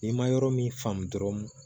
N'i ma yɔrɔ min faamu dɔrɔn